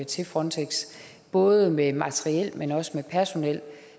til frontex både med materiel men også med personel